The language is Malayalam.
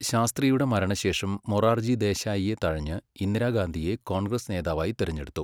ശാസ്ത്രിയുടെ മരണശേഷം മൊറാർജി ദേശായിയെ തഴഞ്ഞ് ഇന്ദിരാഗാന്ധിയെ കോൺഗ്രസ് നേതാവായി തിരഞ്ഞെടുത്തു.